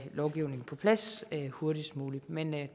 lovgivningen på plads hurtigst muligt men